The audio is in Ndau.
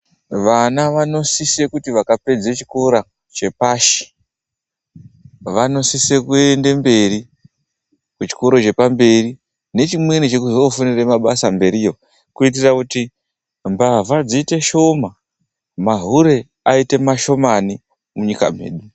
Vana vanosisa kuti vakapedza chikora chepashi vanosisa kuenda mberi kuchikora chepamberi, ndechimweni chekuzofundira mabasa mberiyo kuitira kuti mbavha dziite dzishoma, mahure aite mashomani munyika medu.